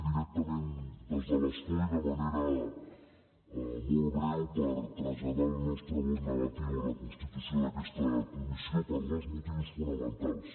directament des de l’escó i de manera molt breu per traslladar el nostre vot negatiu a la constitució d’aquesta comissió per dos motius fonamentals